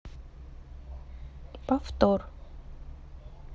повтор